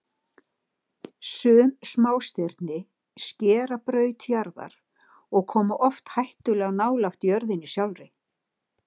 Sum smástirni skera braut jarðar og koma oft hættulega nálægt jörðinni sjálfri.